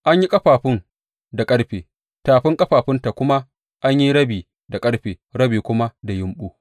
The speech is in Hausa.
An yi ƙafafun da ƙarfe, tafin ƙafafunta kuma an yi rabi da ƙarfe rabi kuma da yumɓu.